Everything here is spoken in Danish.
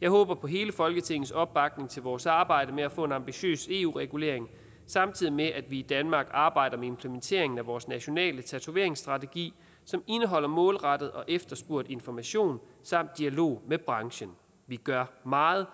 jeg håber på hele folketingets opbakning til vores arbejde med at få en ambitiøs eu regulering samtidig med at vi i danmark arbejder med implementeringen af vores nationale tatoveringsstrategi som indeholder målrettet og efterspurgt information samt dialog med branchen vi gør meget